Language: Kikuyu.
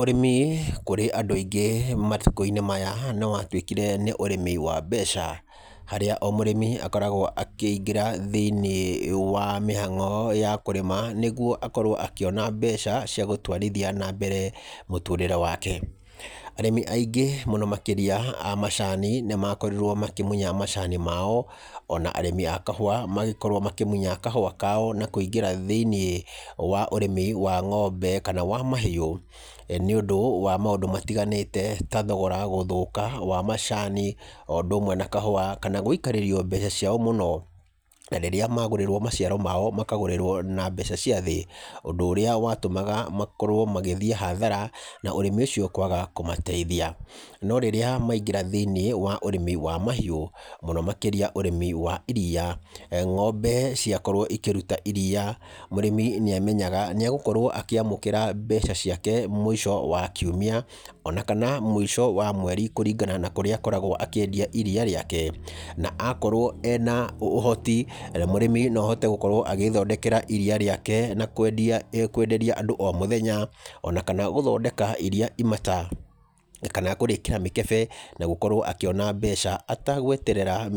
Ũrĩmi kũrĩ andũ aingĩ matukũ-inĩ maya nĩ watuĩkire nĩ ũrĩmi wa mbeca. Harĩa o mũrĩmi akoragwo akĩingĩra thĩiniĩ wa mĩhango ya kũrĩma, nĩguo akorwo akĩona mbeca gũtwarithia na mbere mũtũũrĩre wake. Arĩmi aingĩ mũno makĩrĩa a macani nĩ makorirwo makĩmunya macani mao, ona arĩmi a kahũa magĩkorwo makĩmunya kahũa kao, na kũingĩra thĩiniĩ wa ũrĩmi wa ng'ombe kana wa mahiũ. Nĩ ũndũ wa maũndũ matiganĩte ta thogora gũthũka wa macani o ũndũ ũmwe na kahũa, kana gũikarĩrio mbeca ciao mũno. Na rĩrĩa magũrĩrwo maciaro mao makagũrĩrwo na mbeca cia thĩ, ũndũ ũrĩa watũmaga makorwo magĩthiĩ hathara na ũrĩmi ũcio kwaga kũmateithia. No rĩrĩa maingĩra thĩiniĩ wa ũrĩmi wa mahiũ, mũno makĩria ũrĩmi wa iria, ng'ombe ciakorwo ikĩruta iria, mũrĩmi nĩ amenyaga egũkorwo akĩamũkĩra mbeca ciake mũico wa kiumia ona kana mũico wa mweri kũringana na kũrĩa akoragwo akĩendia iria rĩake. Na akorwo ena ũhoti, mũrĩmi no ahote gũkorwo agĩĩthondekera iria rĩake na kwenderia andũ o mũthenya, ona kana gũthondeka iria imata, kana kũrĩĩkĩra mĩkebe na gũkorwo akĩona mbeca atagweterera